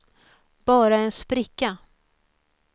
bara en spricka